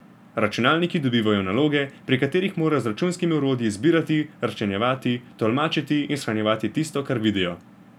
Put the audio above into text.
Računalniki dobivajo naloge, pri katerih morajo z računskimi orodji zbirati, razčlenjevati, tolmačiti in shranjevati tisto, kar vidijo.